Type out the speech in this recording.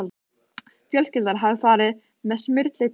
Fjölskyldan hafði farið með Smyrli til